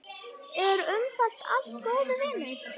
En umfram allt góður vinur.